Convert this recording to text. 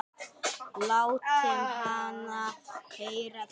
Láttu hana heyra það